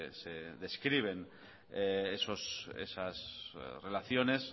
se describen esas relaciones